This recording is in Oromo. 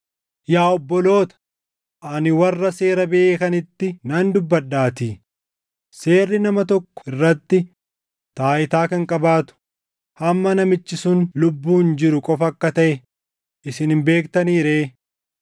Yaa obboloota, ani warra seera beekanitti nan dubbadhaatii; seerri nama tokko irratti taayitaa kan qabaatu hamma namichi sun lubbuun jiru qofa akka taʼe isin hin beektanii ree?